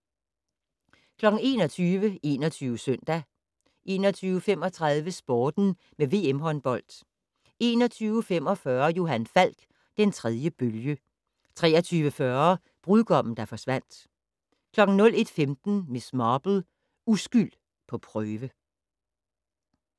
21:00: 21 Søndag 21:35: Sporten med VM håndbold 21:45: Johan Falk: Den tredje bølge 23:40: Brudgommen der forsvandt 01:15: Miss Marple: Uskyld på prøve